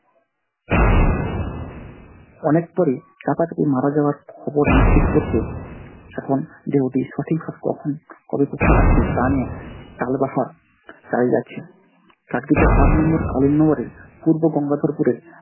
অনেক পরে এ মারা যাবার খবর নিশ্চিত করতে এখন দেহটি সঠিক ভাবে কখন কবে কোথায় আসবে তা নিয়ে তালবাহার চালিয়ে যাচ্ছে। আট নম্বর পূর্ব গঙ্গাধরপুরের